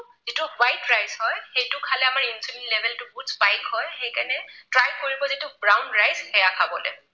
যিটো white rice হয় সেইটো খালে আমাৰ insulin level টো বহুত spike হয় সেইকাৰণে try কৰিব যিটো brown rice সেয়া খাবলৈ।